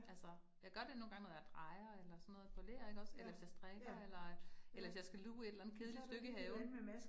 Altså jeg gør det nogle gange, når jeg drejer eller sådan noget på ler ikke også, eller hvis jeg strikker, eller øh eller hvis jeg skal luge et eller andet kedeligt stykke i haven